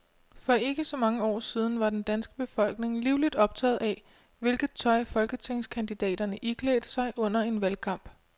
For ikke så mange år siden var den danske befolkning livligt optaget af, hvilket tøj folketingskandidaterne iklædte sig under en valgkamp.